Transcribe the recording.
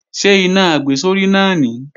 Ṣé iná àgbésórí náà nìí?